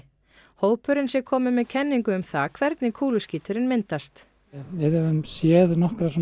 hópurinn sé kominn með kenningu um það hvernig kúluskíturinn myndast við höfum séð nokkra